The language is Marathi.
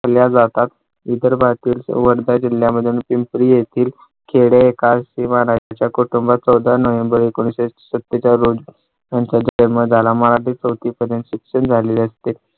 ठेवल्या जातात इतर भागातील वर्धा जिल्ह्यामध्ये पिंपरी येथील खेडे किंवा नाही कुटुंबात चौदा नोव्हेंबर एकोणाविशे सत्तेचाळ रोजी मध्ये झाला. मराठी चौथीपर्यंत शिक्षण झालेले असते.